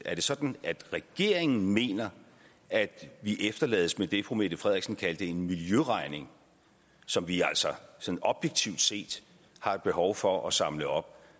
er sådan at regeringen mener at vi efterlades med det fru mette frederiksen kaldte en miljøregning som vi altså sådan objektivt set har et behov for at samle op